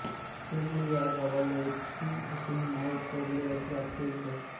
त्यामुळे या गावाला थेऊर असे नाव पडले अशी अख्यायिका आहे